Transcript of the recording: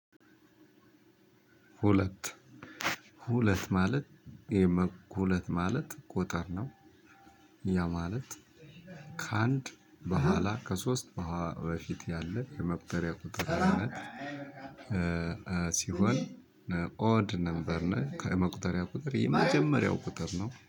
ሁለት ሁለት ማለት ይሄማ ሁለት ማለት ቁጥር ነው። ያ ማለት ከአንድ በኋላ ከሶስት በፊት ያለ የመቁጠሪያ ቁጥር አይነት። ሲሆን ኦድ ነበርና ከመቁጠሪያ ቁጥር የመጀመሪያው ቁጥር ነው